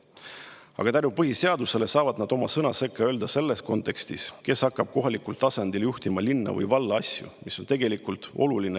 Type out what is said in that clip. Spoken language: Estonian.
Aga tänu põhiseadusele saavad nad oma sõna sekka öelda selles kontekstis, kes hakkab kohalikul tasandil juhtima linna või valla asju, mis on tegelikult oluline.